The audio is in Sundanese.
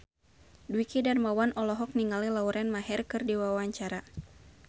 Dwiki Darmawan olohok ningali Lauren Maher keur diwawancara